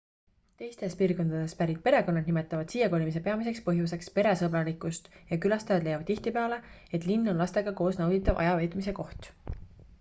teistest piirkondadest pärit perekonnad nimetavad siiakolimise peamiseks põhjuseks peresõbralikkust ja külastajad leiavad tihtipeale et linn on lastega koos nauditav ajaveetmise koht